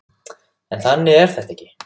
En þannig er þetta ekki.